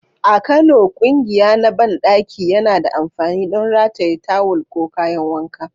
A Kano, ƙugiya na banɗaki yana da amfani don rataye tawul ko kayan wanka.